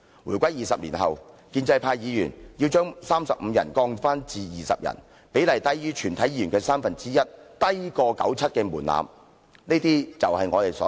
回歸20年後，建制派議員要把法定人數由35人降至20人，比例低於全體議員的三分之一，較97年門檻為低。